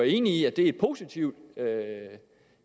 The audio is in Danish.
enige i at det er et positivt